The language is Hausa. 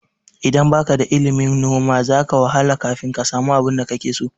Idan baka da ilimin noma, za ka wahala kafin ka samu abinda kake so.